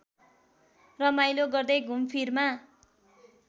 रमाइलो गर्दै घुमफिरमा